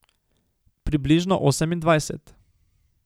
Približno osemindvajset.